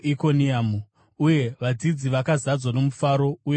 Uye vadzidzi vakazadzwa nomufaro uye noMweya Mutsvene.